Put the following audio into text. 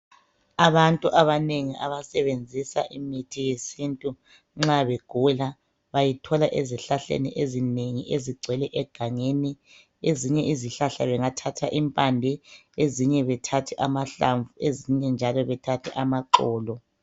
Abantu abanengi abasebenzisa imithi yesintu nxa begula bayithola ezihlahleni ezinengi ezigcwele egangeni. Ezinye izihlahla bengathatha impande, ezinye bethathe amahlamvu ezinye bethathe amaxolo.